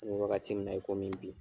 An bɛ wagati min na i komi bi.